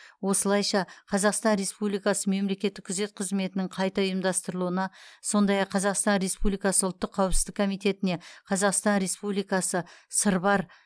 осылайша қазақстан республикасы мемлекеттік күзет қызметінің қайта ұйымдастырылуына сондай ақ қазақстан республикасы ұлттық қауіпсіздік комитетіне қазақстан республикасы сырбар